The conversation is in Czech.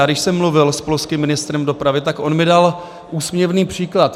Já když jsem mluvil s polským ministrem dopravy, tak on mi dal úsměvný příklad.